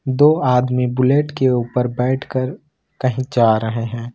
दो आदमी बुलेट के ऊपर बैठकर कहीं जा रहे हैं।